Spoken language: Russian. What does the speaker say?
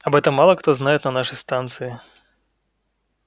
об этом мало кто знает на нашей станции